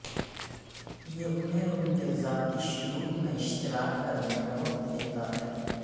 یہ انہیں ان کے ذاتی شیڈول میں اشتراک کرنے کا وقت دیتا ہے